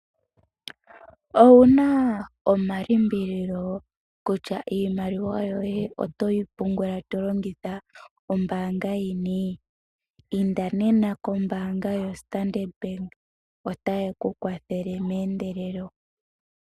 Owuna omalimbililo kutya iimaliwa yoye oto yi pungula to longitha ombaanga yini? Inda nena koStandard Bank otaye ku kwathele meendelelo.